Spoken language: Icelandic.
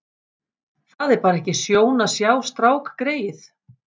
Það er bara ekki sjón að sjá strákgreyið.